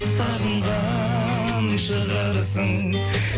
сағынған шығарсың